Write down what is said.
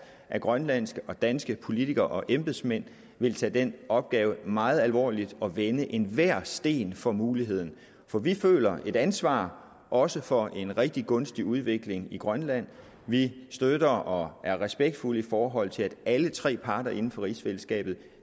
af grønlandske og danske politikere og embedsmænd vil tage den opgave meget alvorligt og vende enhver sten for muligheder for vi føler et ansvar også for en rigtig gunstig udvikling i grønland vi støtter og er respektfulde i forhold til at alle tre parter inden for rigsfællesskabet